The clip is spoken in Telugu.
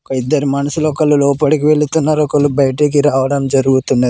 ఒక ఇద్దరు మనుషులు ఒకళ్ళు లోపలికి వెళ్తున్నారు ఒకళ్ళు బయటికి రావడం జరుగుతున్న --